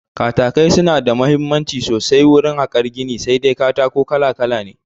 Katakai suna da mahimmanci sosai wurin harkar gini, sai dai katako kala kala ne